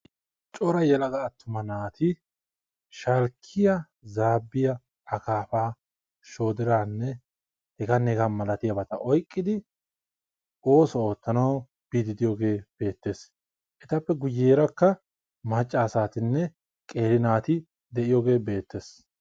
Coraa yelaga atuma naati akaafa, zaabiyanne hara buquratta oyqqiddi oosuwa oottanawu biyaagetti beetees.